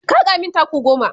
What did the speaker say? ka haka min taku goma!